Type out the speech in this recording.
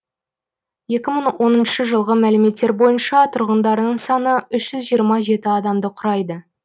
екі мың оныншы жылғы мәліметтер бойынша тұрғындарының саны үш жиырма жеті адамды құрайды